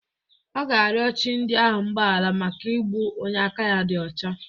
Ọ ga-arịọ chi ndị ahụ mgbahara maka igbu onye aka ya dị ọcha.